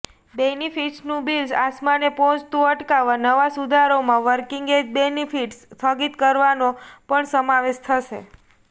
બેનિફિટ્સનું bill આસમાને પહોંચતું અટકાવવા નવા સુધારાઓમાં વર્કિંગ એજ બેનિફિટ્સ સ્થગિત કરવાનો પણ સમાવેશ થશે